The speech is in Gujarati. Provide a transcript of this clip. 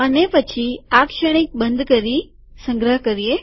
અને પછી આ શ્રેણિક બંધ કરીસંગ્રહ કરીએ